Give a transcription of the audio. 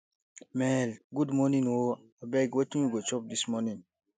maale good morning o abeg wetin we go chop dis morning